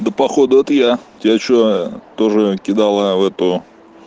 да походу это я тебе что-то же кидала в эту